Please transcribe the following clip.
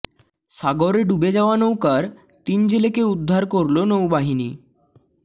সাগরে ডুবে যাওয়া নৌকার তিন জেলেকে উদ্ধার করল নৌবাহিনী